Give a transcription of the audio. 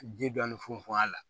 Ji dɔɔnin funfun a la